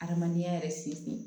Adamadenya yɛrɛ sen fin